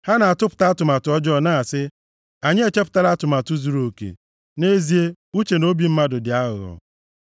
Ha na-atụpụta atụmatụ ọjọọ na-asị, “Anyị echepụtala atụmatụ zuruoke!” Nʼezie, uche na obi mmadụ dị aghụghọ.